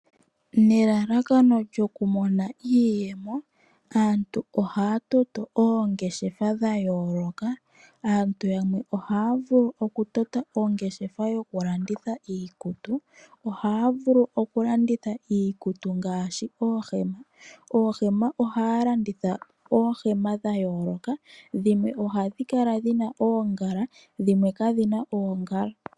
Nelalakano lyokumona iiyemo aantu ohaya toto oongeshefa dha yooloka. Aantu yamwe ohaya vulu okutota ongeshefa yokulanditha iikutu. Ohaya vulu okulanditha iikutu ngaashi oohema. Oohema ohaya landitha oohema dha yooloka, dhimwe ohadhi kala dhi na oongala dhimwe kadhi na oongala.